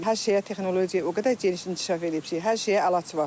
Hər şeyə texnologiya o qədər geniş inkişaf eləyib ki, hər şeyə əlac var.